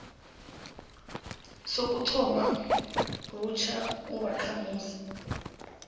sokuthoma butjha ubakhamuzi